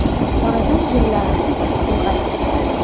Oradan yillar o‘tdi, ulg‘aydim.